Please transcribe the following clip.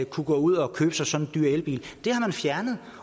kunne gå ud og købe sig sådan en dyr elbil det har man fjernet